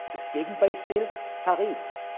Das Gegenbeispiel Paris